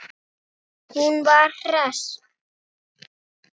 Hún var hress.